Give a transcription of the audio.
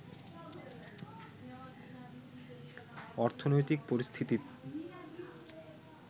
অর্থনৈতিক পরিস্থিতি